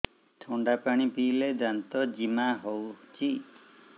ଥଣ୍ଡା ପାଣି ପିଇଲେ ଦାନ୍ତ ଜିମା ହଉଚି